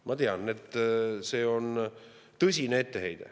Ma tean, et see on tõsine etteheide.